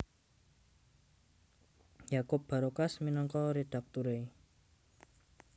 Yakup Barokas minangka redakturé